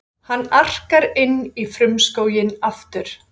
Hann arkar inn í frumskóginn aftur.